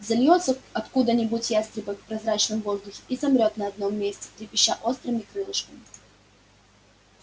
взовьётся откуда-нибудь ястребок в прозрачном воздухе и замрёт на одном месте трепеща острыми крылышками